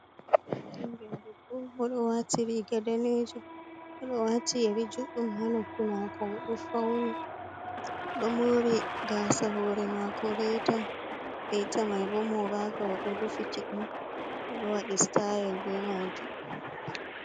hengede bo modo wati ri gadanejum modo wati yeri juddum hanoppi mako funido mori gasahure mako reta beitamai bo movaka wo do rufi kiɗɗum o do wadi sta’el be majum